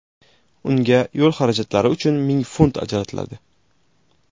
Unga yo‘l xarajatlari uchun ming funt ajratiladi.